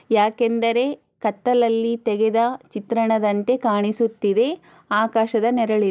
ಯಾಕೆಂದರೇ ಕತ್ತಲ್ಲಲ್ಲಿ ತೆಗೆದ ಚಿತ್ರಣದಂತೆ ಕಾಣಿಸುತ್ತಿದೆ ಆಕಾಶದ ನೆರಳು ಇದೆ.